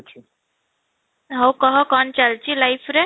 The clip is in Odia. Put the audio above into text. ହଉ କହ କ'ଣ ଚାଲିଛି life ରେ?